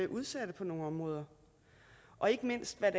udsatte på nogle områder og ikke mindst hvad